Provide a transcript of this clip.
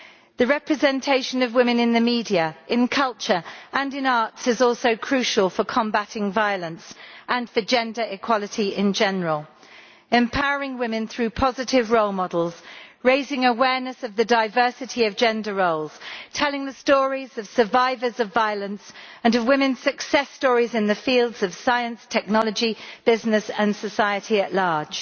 The representation of women in the media, in culture and in the arts is also crucial for combating violence and for gender equality in general, empowering women through positive role models, raising awareness of the diversity of gender roles, telling the stories of survivors of violence and of women's success stories in the fields of science, technology, business and society at large.